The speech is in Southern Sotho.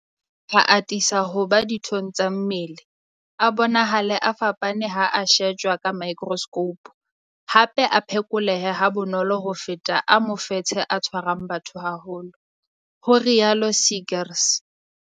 A atisa ho ba dithong tsa mmele, a bonahale a fapane ha a shejwa ka maekroskhoupu, hape a phekoleha ha bonolo ho feta a mofetshe o tshwarang batho ba baholo, ho rialo Seegers.